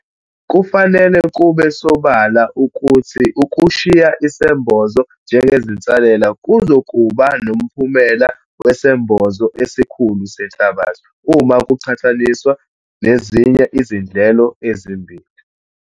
Kufanele kube sobala ukuthi ukushiya isembozo njengezinsalela kuzokuba nomphumela wesembozo esikhulu senhlabathi, uma kuqhathaniswa nezinye izindlelo ezimbili.